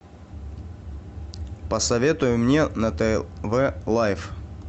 посоветуй мне на тв лайф